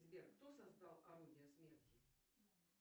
сбер кто создал орудие смерти